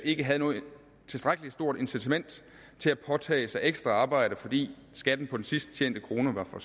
ikke havde et tilstrækkelig stort incitament til at påtage sig ekstra arbejde fordi skatten på den sidst tjente krone var for